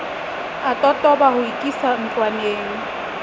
a totoba ho ikisa ntlwaneng